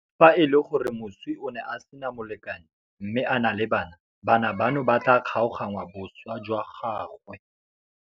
Fa e le gore moswi o ne a sena molekane mme a na le bana, bana bano ba tla kgaoganngwa boswa jwa gagwe.